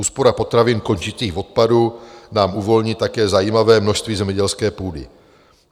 Úspora potravin končících v odpadu nám uvolní také zajímavé množství zemědělské půdy.